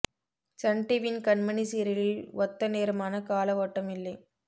Sun டிவியின் கண்மணி சீரியலில் ஒத்த நேரமான கால ஓட்டம் இல்லை